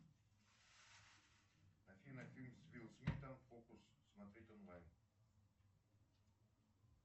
афина фильм с уилл смитом фокус смотреть онлайн